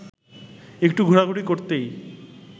একটু ঘোরাঘুরি করতেই